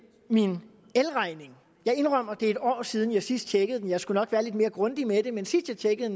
min elregning jeg indrømmer at det er en år siden jeg sidst tjekkede den og jeg skulle nok være lidt mere grundig med det men sidst jeg tjekkede